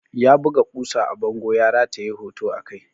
Ya buga ƙusa a bango ya rataye hoto a kai.